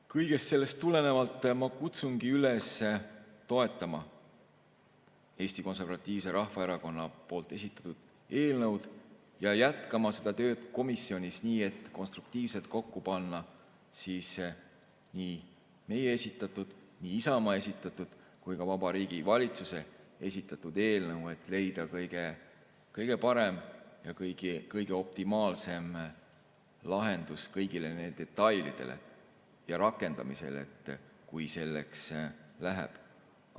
Kõigest sellest tulenevalt ma kutsungi üles toetama Eesti Konservatiivse Rahvaerakonna esitatud eelnõu ja jätkama tööd komisjonis nii, et konstruktiivselt kokku panna nii meie esitatud, Isamaa esitatud kui ka Vabariigi Valitsuse esitatud eelnõu, et leida kõige-kõige parem ja optimaalne lahendus, mis arvestaks kõiki detaile, kui rakendamiseks läheb.